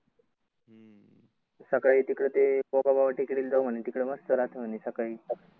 सकाळी तिकड ते गोगाबाबा टेकडीला जाऊ म्हणे तिकड मस्त राहत म्हणे सकाळी.